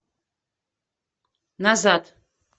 назад